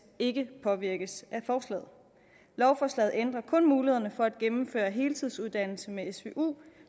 ikke påvirkes af forslaget lovforslaget ændrer kun mulighederne for at gennemføre heltidsuddannelse med svu